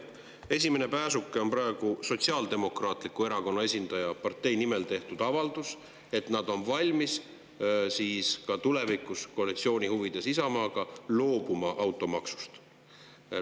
Esimene pääsuke on praegu Sotsiaaldemokraatliku Erakonna esindaja avaldus partei nimel, et nad on valmis tulevikus Isamaaga koalitsiooni huvides loobuma automaksust.